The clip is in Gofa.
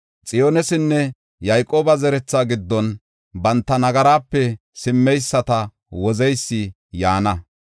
“Xiyoonesinne Yayqooba zeretha giddon banta nagarape simmeyisata Wozeysi yaana.